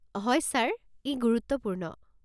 হয় ছাৰ, ই গুৰুত্বপূৰ্ণ।